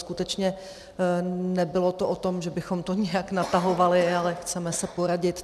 Skutečně nebylo to o tom, že bychom to nějak natahovali, ale chceme se poradit.